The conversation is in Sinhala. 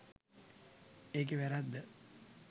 ඒකේ වැරැද්ද.